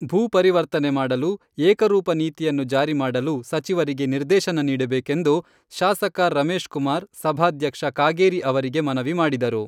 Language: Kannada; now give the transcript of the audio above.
ಭೂ ಪರಿವರ್ತನೆ ಮಾಡಲು ಏಕರೂಪ ನೀತಿಯನ್ನು ಜಾರಿ ಮಾಡಲು ಸಚಿವರಿಗೆ ನಿರ್ದೇಶನ ನೀಡಬೇಕೆಂದು ಶಾಸಕ ರಮೇಶ್ ಕುಮಾರ್ ಸಭಾಧ್ಯಕ್ಷ ಕಾಗೇರಿ ಅವರಿಗೆ ಮನವಿ ಮಾಡಿದರು.